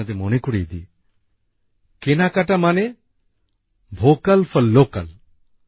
কিন্তু আপনাদের মনে করিয়ে দিই কেনাকাটা মানে ভোক্যাল ফর লোক্যাল